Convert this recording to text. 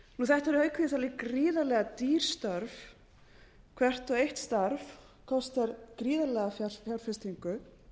þetta er auk þess alveg gríðarlega dýr störf hvert og eitt starf kostar gríðarlega